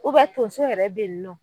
Tonso yɛrɛ bɛ yen nɔ